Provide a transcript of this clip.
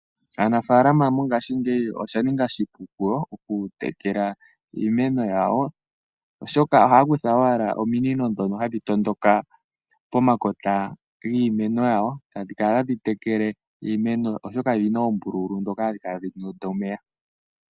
Aanafaalama mongaashingeyi osha ninga oshipu kuyo oku tekela iimeno yawo, oshoka ohaya kutha owala ominino dhoka dhono hadhi tondoka pomakota giimeno yawo, e tadhi kala tadhi tekele iimeno yawo oshoka odhina oombululu dhoka hadhi kala tadhi tonda omeya.